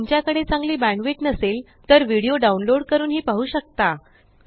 जर तुमच्याकडे चांगली बॅण्डविड्थ नसेल तर व्हिडीओ डाउनलोड करूनही पाहू शकता